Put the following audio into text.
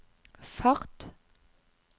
fart